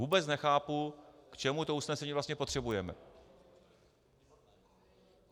Vůbec nechápu, k čemu to usnesení vlastně potřebujeme.